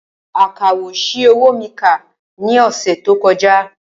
Akawò ṣi owó mi kà ní ọ̀sẹ̀ tó kọjá